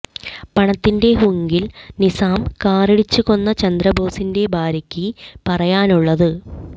പണത്തിന്റെ ഹുങ്കിൽ നിസാം കാറിടിച്ച് കൊന്ന ചന്ദ്രബോസിന്റെ ഭാര്യയ്ക്ക് പറയാനുള്ളത്